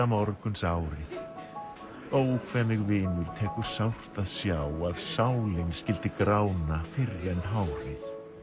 morgunsárið ó hve mig vinur tekur sárt að sjá að sálin skyldi grána fyrr en hárið